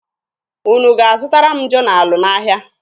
Unu ga-azụtara m jonalụ n'ahịa?